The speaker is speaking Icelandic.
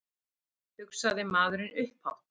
hugsaði maðurinn upphátt.